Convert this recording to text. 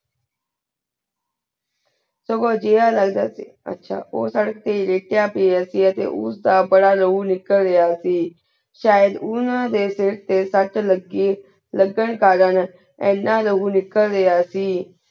ਸਵੋ ਜੇ ਆ ਲਾਗ ਦਾ ਸੇ ਆਚਾ ਊ ਸਰ੍ਰਕ ਤੇ ਲਾਯ੍ਤ੍ਯਾ ਪ੍ਯ ਸੇ ਗਾ ਕੇ ਉਸ ਦਾ ਬਾਰਾ ਲਹੁ ਨਿਕ੍ਲ੍ਯਾ ਸੇ ਸ਼ਾਹਿਦ ਓਨਾ ਦੇ ਸਿਰ ਤੇ ਸਤ ਲਾਗੀ ਲਗਨ ਕਲਾਂ ਯਨਾ ਲਹੁ ਨਿਕਲ ਗਯਾ ਸੇ